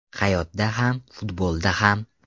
Hayotda ham, futbolda ham.